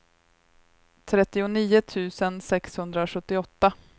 trettionio tusen sexhundrasjuttioåtta